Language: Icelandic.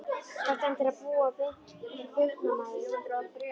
Þarftu endilega að púa beint á burknann maður?